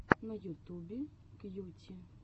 на ютубе кьюти